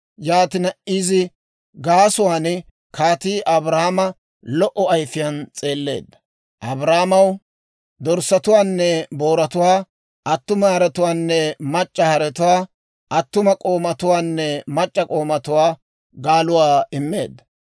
Yaatina izi gaasuwaan kaatii Abraama lo"o ayfiyaan s'eelleedda; Abraamaw dorssatuwaanne booratuwaa, attuma haretuwaanne mac'c'a haretuwaa, attuma k'oomatuwaanne mac'c'a k'oomatuwaa, gaaluwaa immeedda.